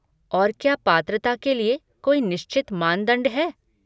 और क्या पात्रता के लिए कोई निश्चित मानदंड है?